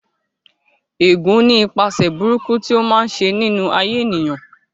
Ẹ̀gún ní ipaṣẹ̀ burúkú tí ó máa ń ṣe nínú ayé ènìyàn